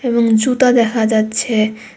এবং জুতা দেখা যাচ্ছে।